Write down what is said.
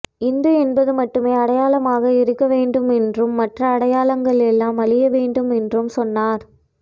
இந்து என்பது மட்டுமே அடையாளமாக இருக்கவேண்டும் என்றும் மற்ற அடையாளங்களெல்லாம் அழியவேண்டும் என்றும் சொன்னார்